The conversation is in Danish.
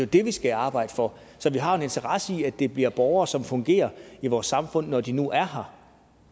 det vi skal arbejde for så vi har en interesse i at de bliver borgere som fungerer i vores samfund når de nu er her